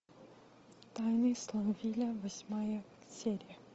тайны смолвиля восьмая серия